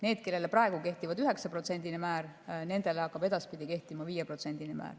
Nendele, kellele praegu kehtib 9%‑line määr, hakkab edaspidi kehtima 5%‑line määr.